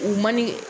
U man ɲi